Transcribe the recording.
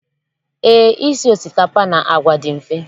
Eé, isi osikapa na àgwà dị mfe.